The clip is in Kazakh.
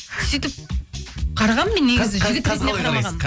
сөйтіп қарағанмын мен негізі жігіт ретінде қарамағанмын